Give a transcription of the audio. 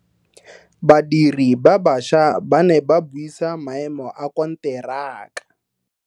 Badiri ba baša ba ne ba buisa maemo a konteraka.